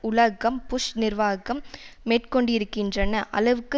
உலகம் புஷ் நிர்வாகம் மேற்கொண்டிருக்கின்ற அளவிற்கு